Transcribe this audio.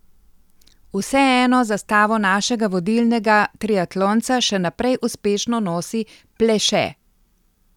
Vseeno zastavo našega vodilnega triatlonca še naprej uspešno nosi Pleše.